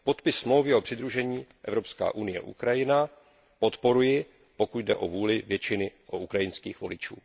Podpis smlouvy o přidružení Evropská unie Ukrajina podporuji, pokud jde o vůli většiny ukrajinských voličů.